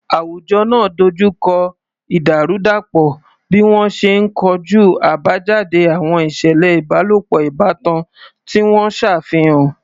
Àwùjọ náà dojú kọ ìdàrúdàpọ̀ bí wọ́n ṣe ń kojú àbájáde àwọn ìṣẹ̀lẹ̀ ìbálòpọ̀ ìbátan tí wọ́n ṣàfihàn.